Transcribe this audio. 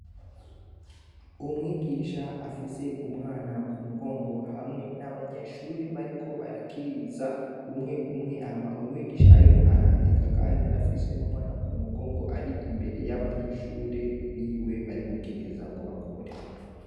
Umwigisha afise umwana ku mugongo, hamwe n'abanyeshure bariko barakiriza umwe umwe. Hama umwigisha ariko arandika kandi afise umwana mu mugongo ari imbere y'abanyeshure biwe, bari gukiriza ngo bakore.